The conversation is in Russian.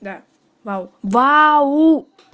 да вау-вау